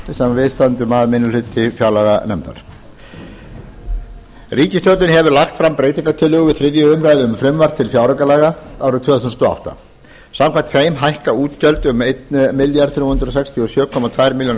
við stöndum að minni hluti fjárlaganefndar ríkisstjórnin hefur lagt fram breytingartillögur við þriðju umræðu um frumvarp til fjáraukalaga árið tvö þúsund og átta samkvæmt þeim hækka útgjöld um þrettán hundruð sextíu og sjö komma tveimur milljónum